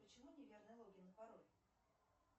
почему неверный логин и пароль